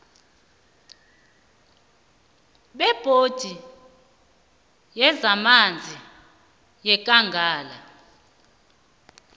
bebhodi yezamanzi yekangala